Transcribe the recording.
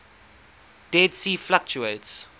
dead sea fluctuates